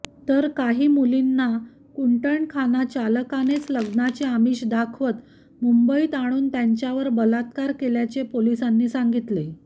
तर काही मुलींना कुंटणखाना चालकानेच लग्नाचे आमिष दाखवत मुंबईत आणून त्यांच्यावर बलात्कार केल्याचे पोलिसांनी सांगितले